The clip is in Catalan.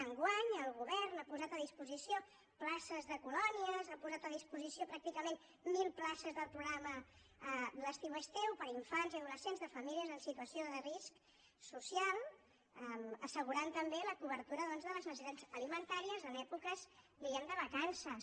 enguany el govern ha posat a disposició places de colònies ha posat a disposició pràcticament mil places del programa l’estiu és teu per a infants i adolescents de famílies en situació de risc social assegurant també la cobertura doncs de les necessitats alimentàries en èpoques diguem ne de vacances